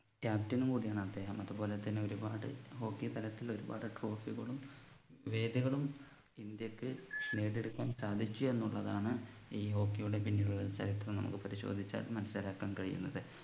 captain ഉം കൂടിയാണ് അദ്ദേഹം അതുപോലെതന്നെ ഒരുപാട് hockey തലത്തിൽ ഒരുപാട് trophy കളും വേദികളും ഇന്ത്യക്ക് നേടിയെടുക്കാൻ സാധിച്ചു എന്നുള്ളതാണ് ഈ hockey യുടെ പിന്നിലുള്ള ചരിത്രം നമുക്ക് പരിശോധിച്ചാൽ മനസ്സിലാക്കാൻ കഴിയുന്നത്